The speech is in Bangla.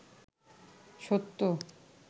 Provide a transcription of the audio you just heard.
সত্য